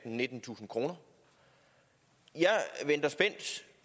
nittentusind kroner jeg venter spændt